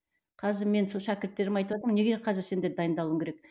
қазір мен сол шәкірттеріме айтыватырмын неге қазір сендер дайындалуың керек